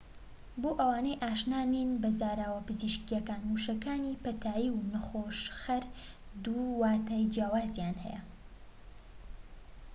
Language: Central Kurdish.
بۆ ئەوانەی ئاشنا نین بە زاراوە پزیشکیەکان وشەکانی پەتایی و نەخۆشخەر دوو واتای جیاوازیان هەیە